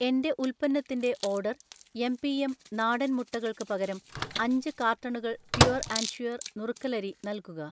എന്‍റെ ഉൽപ്പന്നത്തിന്‍റെ order MPM. നാടൻ മുട്ടകൾക്ക് പകരം അഞ്ച് കാർട്ടണുകൾ പ്യുർ ആൻഡ് ഷ്യൂർ നുറുക്കലരി നൽകുക.